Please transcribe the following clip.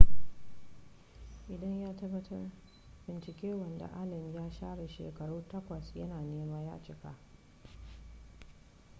idan ya tabbata binciken wanda allen ya share shekaru takwas ya na nema ya cika